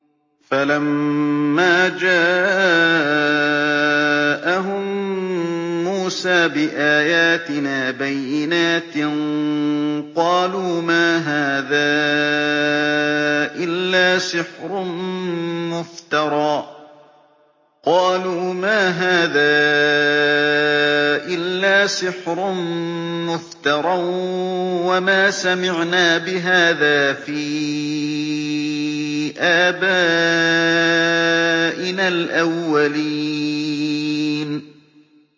فَلَمَّا جَاءَهُم مُّوسَىٰ بِآيَاتِنَا بَيِّنَاتٍ قَالُوا مَا هَٰذَا إِلَّا سِحْرٌ مُّفْتَرًى وَمَا سَمِعْنَا بِهَٰذَا فِي آبَائِنَا الْأَوَّلِينَ